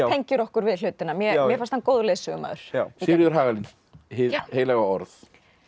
tengir okkur við hlutina mér mér fannst hann góður leiðsögumaður Sigríður Hagalín Hið heilaga orð